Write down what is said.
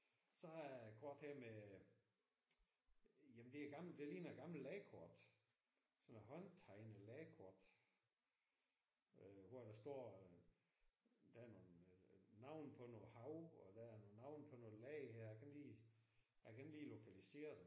Så har jeg et kort her med jamen det er et gammelt det ligner et gammelt landkort. Sådan noget håndtegnet landkort hvor der står der er nogle navne på noget hav og der er nogle havne på noget land her jeg kan ikke lige jeg kan ikke lige lokalisere det